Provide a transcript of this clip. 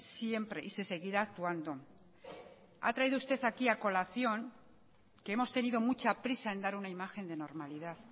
siempre y se seguirá actuando ha traído usted aquí a colación que hemos tenido mucha prisa en dar una imagen de normalidad